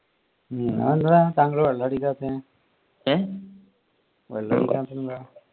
അതെന്താ താങ്കൾ വെള്ളം അടിക്കാതെ